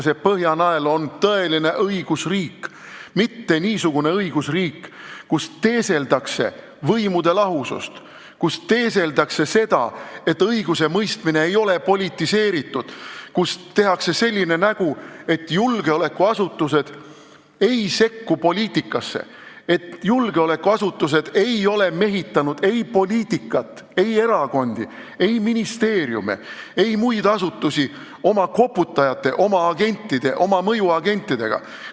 See Põhjanael on tõeline õigusriik, mitte niisugune õigusriik, kus teeseldakse võimude lahusust, kus teeseldakse, et õigusemõistmine ei ole politiseeritud, kus tehakse nägu, et julgeolekuasutused ei sekku poliitikasse, et julgeolekuasutused ei ole mehitanud ei poliitikat, ei erakondi, ei ministeeriume ega muid asutusi oma koputajate, oma agentide, oma mõjuagentidega.